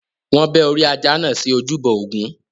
Wọn bẹ́ orí ajá náà sí ojúbọ Ògún.